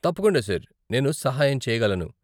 తప్పకుండా సార్, నేను సహాయం చేయగలను.